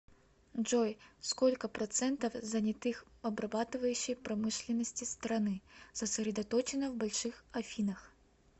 джой сколько процентов занятых в обрабатывающей промышленности страны сосредоточено в больших афинах